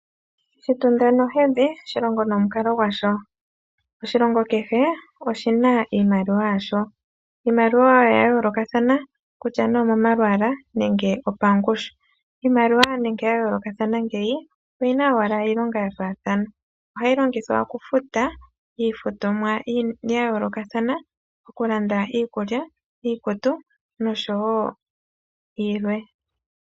Shitunda nohedhi, shilongo nomukalo gwasho. Oshilongo kehe, oshina iimaliwa yasho. Iimaliwa yawo oya yoolokathana, kutya nduno omomalwaalwa nenge opangushu. Iimaliwa nando yikale yayoolokathana ngaaka, oyina owala iilonga ya faathana. Ohayi longithwa okufuta iinima ya yoolokathana, ngaashi okulanda iikulya, iikutu nosho tuu.